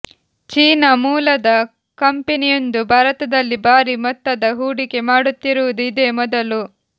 China ಮೂಲದ ಕಂಪನಿಯೊಂದು ಭಾರತದಲ್ಲಿ ಭಾರಿ ಮೊತ್ತದ ಹೂಡಿಕೆ ಮಾಡುತ್ತಿರುವುದು ಇದೇ ಮೊದಲು